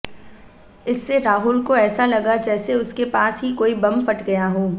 इससे राहुल को ऐसा लगा जैसे उसके पास ही कोई बम फट गया हो